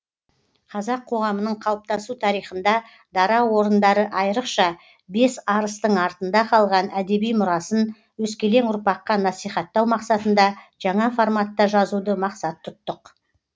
қазақ қоғамының қалыптасу тарихында дара орындары айрықша бес арыстың артында қалған әдеби мұрасын өскелең ұрпаққа насихаттау мақсатында жаңа форматта жазуды мақсат тұттық